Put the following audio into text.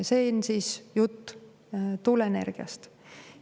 See on siis jutt tuuleenergiast.